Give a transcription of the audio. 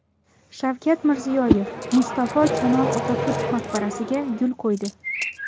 Shavkat Mirziyoyev Mustafo Kamol Otaturk maqbarasiga gul qo‘ydi .